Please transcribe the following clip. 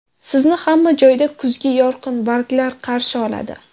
Sizni hamma joyda kuzgi yorqin barglar qarshi oladi.